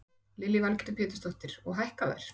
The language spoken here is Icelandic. Lillý Valgerður Pétursdóttir: Og hækka þær?